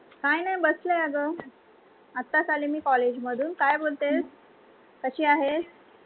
काय नाही, बसले आहे, अग आताच आले मी college मधून, काय बोलते, कशी आहेस?